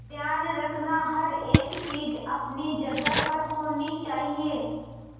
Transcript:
ध्यान रखना हर एक चीज अपनी जगह पर होनी चाहिए